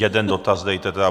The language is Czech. Jeden dotaz dejte.